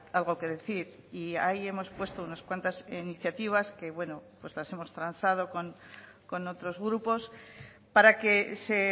algo que decir y ahí hemos puesto unas cuantas iniciativas que bueno pues las hemos transado con otros grupos para que se